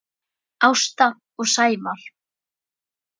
Ásta og Sævar.